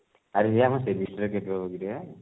ଆରେ ହେ ଆମ semester କେତେବେଳକୁ କିରେ?